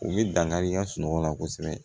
U bɛ dankari kɛ sunɔgɔ la kosɛbɛ